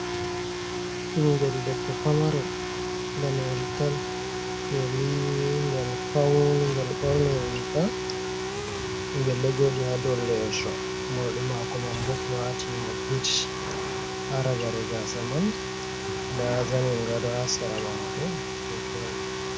Ɓingel debbo pamarel daneyel tal gel yiwi ngel fauni ngel ɓorni riga ngel ɗo joɗi ha dow lesso morɗi mako man ɓo ɓewatinimo bit ha ragare gasa man nda zanin gado ha sera mako ɗo joɗi.